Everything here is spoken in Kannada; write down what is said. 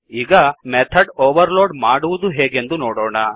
ಈಗ ಮೆಥಡ್ ಓವರ್ಲೋಡ್ ಮಾಡುವುದು ಹೇಗೆಂದು ನೋಡೋಣ